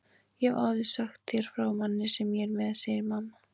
Ég hef áður sagt þér frá manni sem ég er með, segir mamma.